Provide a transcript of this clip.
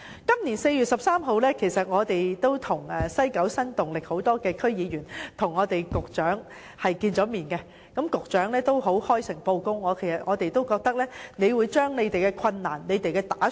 今年4月13日，屬西九新動力的區議員曾與局長會面，局長亦開誠布公，向我們交代了當中的困難和打算。